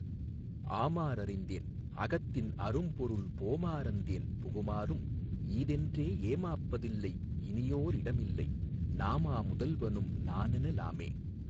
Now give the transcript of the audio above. ஆமா றறிந்தேன் அகத்தின் அரும்பொருள் போமா றந்தேன் புகுமாறும் ஈதென்றே ஏமாப்ப தில்லை இனியோ ரிடமில்லை நாமா முதல்வனும் நனென லாமே.